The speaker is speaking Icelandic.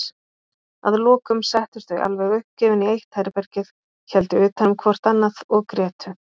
Að lokum settust þau alveg uppgefin í eitt herbergið, héldu utanum hvort annað og grétu.